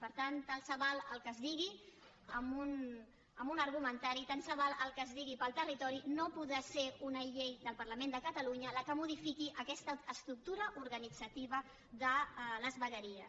per tant tant se val el que es digui en un argumentari tant se val el que es digui pel territori no podrà ser una llei del parlament de catalunya la que modifiqui aquesta estructura organitzativa de les vegueries